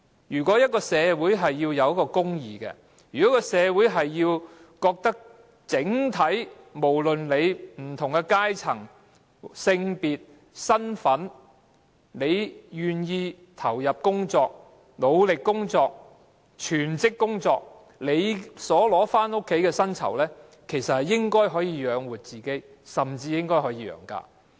如果一個社會存在公義，如果一個社會認為整體上，無論是甚麼階層、性別或身份，只要你願意投入工作、努力地全職工作，你領取回家的薪酬應該可以養活自己，甚至可以養家。